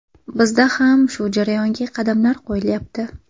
Bizda ham shu jarayonga qadamlar qo‘yilyapti.